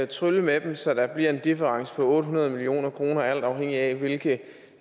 trylle med dem så der bliver en difference på otte hundrede million kr alt afhængig af hvilke